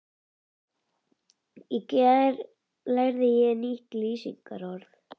Í gær lærði ég nýtt lýsingarorð.